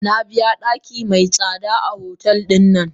Nabiya daki mai tsada a hotel din.